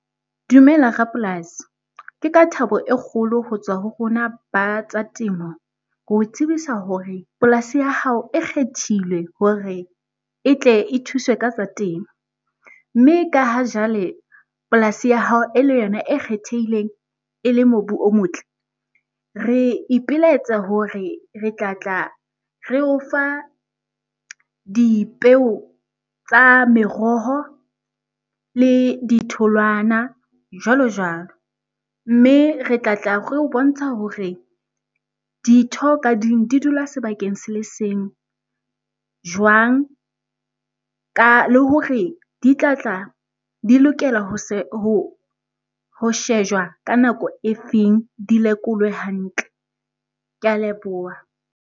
Dumela rapolasi. Ke ka thabo e kgolo ho tswa ho rona ba tsa temo ho tsebisa hore polasi ya hao e kgethilwe hore e tle e thuswe ka tsa temo. Mme ka ha jwale polasi ya hao e le yona e kgethehileng e le mobu o motle, re ipelaetsa hore re tla tla re o fa dipeo tsa meroho le ditholwana jwalo jwalo. Mme re tla tla re o bontsha hore ditho ka ding di dula sebakeng se le seng jwang le hore di tlatla di lokela ho shejwa ka nako e feng di lekolwe hantle. Ke a leboha.